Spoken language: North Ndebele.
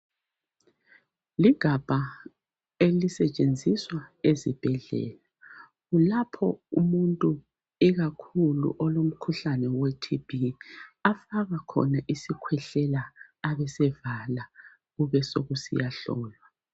Ligabha elisetshenziswa ezibhedlela kulapho umuntu ikakhulu olomkhuhlane weTB afaka khona isikhwehlela abesevala kube sokusiyahlolwa.